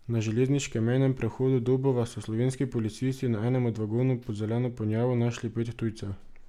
Na železniškem mejnem prehodu Dobova so slovenski policisti na enem od vagonov pod zeleno ponjavo našli pet tujcev.